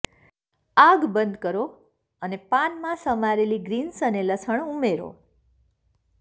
આગ બંધ કરો અને પાનમાં સમારેલી ગ્રીન્સ અને લસણ ઉમેરો